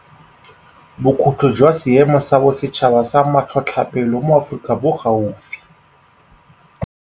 Bokhutlo jwa Seemo sa Bosetšhaba sa Matlhotlhapelo mo Aforika Borwa bo gaufi